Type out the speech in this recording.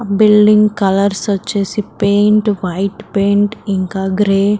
building colours వచ్చేసి paint white paint ఇంకా grey --